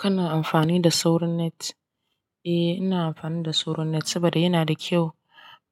Kana amfani da soron net? Eh, ina amfani da sauran net saboda yana da kyau.